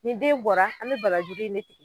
Ni den bɔra an be barajuru in de